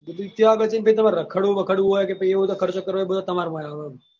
પહી ત્યો આગળ જઈને તમારે રખડવું બખડવું હોય કે પહી એ બધો ખર્ચો કરવો હોય એ બધો તમારામાં આવે એમ.